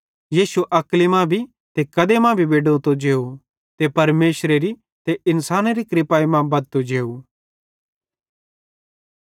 यीशु अक्ली मां भी ते कदे मां भी बेडोतो जेव ते परमेशरेरी ते इन्सानेरी कृपाई मां बद्धतो जेव